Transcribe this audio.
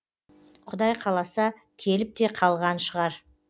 құдай қаласа келіп те қалған шығар